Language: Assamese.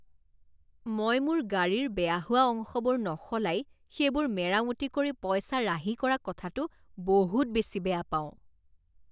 মই মোৰ গাড়ীৰ বেয়া হোৱা অংশবোৰ নসলাই সেইবোৰ মেৰামতি কৰি পইচা ৰাহি কৰা কথাটো বহুত বেছি বেয়া পাওঁ।